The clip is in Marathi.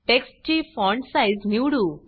टेक्स्ट ची फॉण्ट साइज़ निवडू